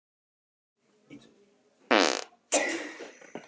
Þorbjörn: Og hvað verður um allar evrurnar og alla dollarana?